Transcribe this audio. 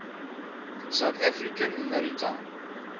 south african maritime